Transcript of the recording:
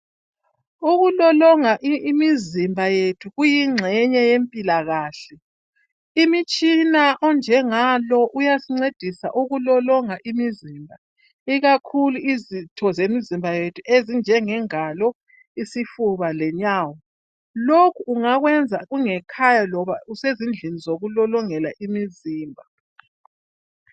Ukulolonga imizimba yethu kuyingxenye yempilakahle . Imitshina onjengalo uyasincedisa ukulolonga imizimba ikakhulu izitho zemizimba yethu ezinjenge ngalo, isifuba lenyawo. Lokhu ungakwenza ungekhaya loba usezindlini zokulolongela imizimba.